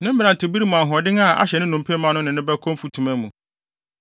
Ne mmerantebere mu ahoɔden a ahyɛ ne nnompe ma no ne no bɛkɔ mfutuma mu.